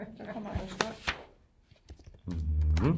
Så kommer der stop